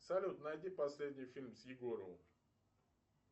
салют найди последний фильм с егоровым